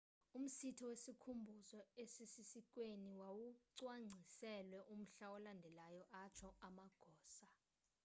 umsitho wesikhumbuzo esisesiikweni wawucwangciselwe umhla olandelayo atsho amagosa